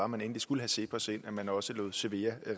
man endelig skulle have cepos ind at man også lod cevea